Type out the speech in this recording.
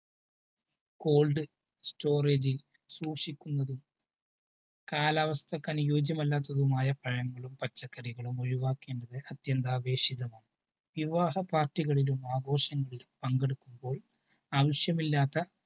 cold storage സൂക്ഷിക്കുന്നതും കാലാവസ്ഥക്ക് അനുയോജ്യമല്ലാത്തതുമായ പഴങ്ങളും പച്ചക്കറികളും ഒഴിവാക്കേണ്ടത് അത്യന്താപേക്ഷിതമാണ്. വിവാഹ പാർട്ടികളിലും ആഘോഷങ്ങളിലും പങ്കെടുക്കുമ്പോൾ ആവശ്യമില്ലാത്ത